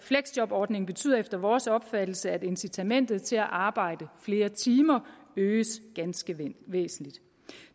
fleksjobordningen betyder efter vores opfattelse at incitamentet til at arbejde flere timer øges ganske væsentligt